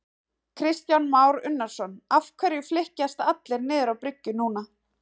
Kristján Már Unnarsson: Af hverju flykkjast allir niður á bryggju núna?